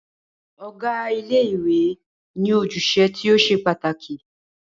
Ọ̀gá ilé ìwé ní ojúṣe tí o ṣe pàtàkì.